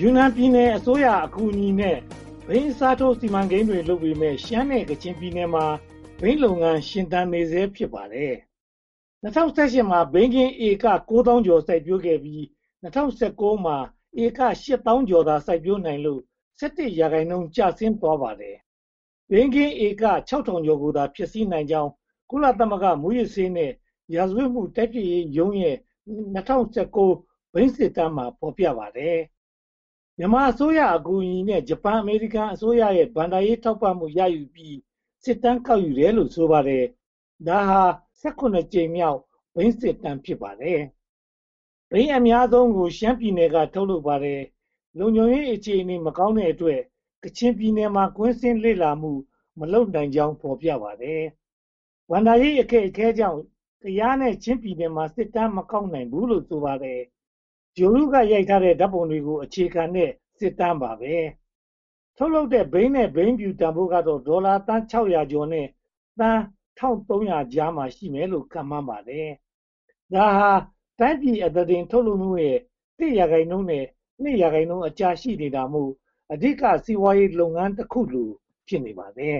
ယူနန်ပြည်နယ်အစိုးရအကူအညီနဲ့ ဘိန်းအစားထိုး စီမံကိန်းတွေ လုပ်ပေမယ့် ရှမ်းနဲ့ကချင်ပြည်နယ်မှာ ဘိန်းလုပ်ငန်း ရှင်သန်နေဆဲ ဖြစ်ပါတယ်။ ၂၀၁၈ မှာ ဘိန်းခင်းဧက (၉,၂၁၃၁) စိုက်ပျိုးခဲ့ပြီး၊ ၂၀၁၉ မှာ ဧက (၈,၁၇၅၇) သာ စိုက်ပျိုးနိုင်လို့ (၁၁) ရာခိုင်နှုန်း ကျဆင်းသွားခဲ့ပါတယ်။ ဘိန်းခင်းဧက (၆၀၇၆) ကိုသာ ဖျက်ဆီးနိုင်ကြောင်း ကုလသမဂ္ဂမူးယစ်ဆေးနဲ့ ရာဇဝတ်မှု တိုက်ဖျက်ရေးရုံးရဲ့ ၂၀၁၉ ဘိန်းစစ်တမ်းမှာ ဖော်ပြထားပါတယ်။ မြန်မာအစိုးရအကူအညီနဲ့ ဂျပန်-အမေရိကန်အစိုးရရဲ့ ဘဏ္ဍာရေးထောက်ပံ့မှု ရယူပြီး စစ်တမ်းကောက်ယူတယ်လို့ ဆိုပါတယ်။ ဒါဟာ (၁၇) ကြိမ်မြောက် ဘိန်းစစ်တမ်း ဖြစ်ပါတယ်။ ဘိန်းအများဆုံးကို (၈၅)% ရှမ်းပြည်နယ်က ထုတ်လုပ်ပါတယ်။ လုံခြုံရေးအခြေအနေမကောင်းတဲ့အတွက် ကချင်ပြည်နယ်မှာ ကွင်းဆင်ထားမှု မလုပ်နိုင်ကြောင်း ဖော်ပြပါတယ်။ ဘဏ္ဍာရေးအခက်အခဲကြောင့် ကယားနဲ့ ချင်းပြည်နယ်မှာ စစ်တမ်းမကောက်ယူနိုင်ဘူးလို့ ဆိုပါတယ်။ ဂြိုဟ်တုက ရိုက်ကူးထားတဲ့ ဓါတ်ပုံတွေကို အခြေခံတဲ့ စစ်တမ်းဖြစ်ပါတယ်။ ထုတ်လုပ်တဲ့ ဘိန်းနဲ့ ဘိန်းဖြူတန်းဖိုးကတော့ ဒေါ်လာသန်း (၆၄၉) နဲ့ သန်း (၁၃၇၀) အကြား ရှိမယ်လို့ ခန့်မှန်းပါတယ်။ ဒါဟာ တိုင်းပြည်အသားတင်ထုတ်လုပ်မှုရဲ့ (၁) ရာခိုင်နှုန်းနဲ့ (၂) ရာခိုင်နှုန်းကြား ရှိနေတာမို့ အဓိကစီးပွားရေးလုပ်ငန်းတခုလို ဖြစ်နေပါတယ်